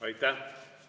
Aitäh!